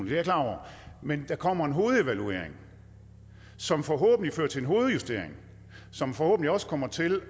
jeg klar over men der kommer en hovedevaluering som forhåbentlig fører til en hovedjustering som forhåbentlig også kommer til